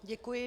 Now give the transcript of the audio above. Děkuji.